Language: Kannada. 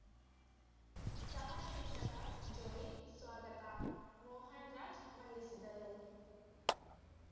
ಸಹ ಶಿಕ್ಷಕ ಜೋಯಿ ಸ್ವಾಗತ ಮೋಹನ್‌ ರಾಜ್‌ ವಂದಿಸಿದರು